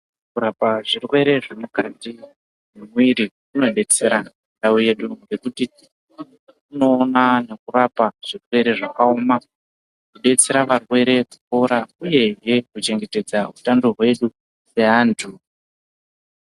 Kurapa zvirwere zvemukati memwiiri kunodetsera ndau yedu nekuti kunoona nekurapa zvirwere zvakaoma kudetsera varwere kupora uyehe kuchengetedza utano hwedu seantu.